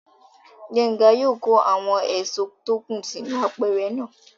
Gbénga yóò kó àwọn èso tó kù sínú apẹ̀rẹ̀ náà